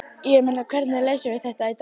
Ég meina, hvernig leysum við þetta í dag?